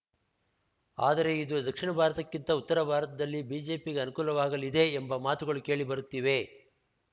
ಆದರೆ ಇದು ದಕ್ಷಿಣ ಭಾರತಕ್ಕಿಂತ ಉತ್ತರ ಭಾರತದಲ್ಲಿ ಬಿಜೆಪಿಗೆ ಅನುಕೂಲವಾಗಲಿದೆ ಎಂಬ ಮಾತುಗಳು ಕೇಳಿ ಬರುತ್ತಿವೆ